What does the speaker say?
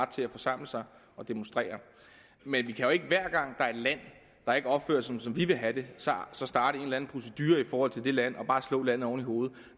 til at forsamle sig og demonstrere men vi kan jo ikke hver gang er et land der ikke opfører sig som vi vil have det så starte en eller en procedure i forhold til det land og bare slå landet oven i hovedet